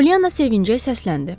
Pollyanna sevinclə səsləndi.